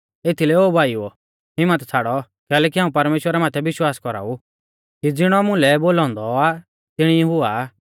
एथीलै ओ भाईओ हिम्मत छ़ाड़ौ कैलैकि हाऊं परमेश्‍वरा माथै विश्वास कौराऊ कि ज़िणौ मुलै बोलौ औन्दौ आ तिणी हुआ